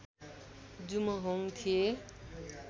जुमहोङ थिए